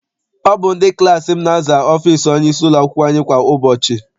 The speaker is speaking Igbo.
Ọ bụ ndị klassi m na-aza ọfịịsi onyeisi ụlọakwụkwọ anyị kwa ụbọchị.